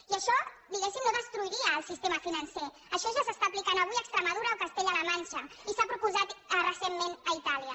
i això diguéssim no destruiria el sistema financer això ja s’està aplicant avui a extremadura o a castella la manxa i s’ha proposat recentment a itàlia